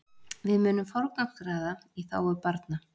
Við munum forgangsraða í þágu barna